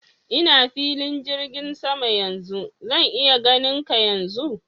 Ina filin jirgin saman yanzu. Zan iya ganin ka yanzu?